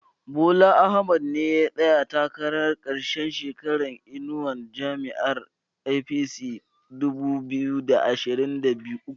Bola Ahmad ne ya tsaya takara karkashin inuwar jam'iyar APC a dubu biyu da ashirin da uku